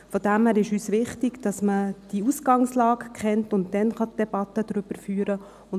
Deshalb ist uns wichtig, dass man die Ausgangslage kennt, und dann die Debatte darüber führen kann.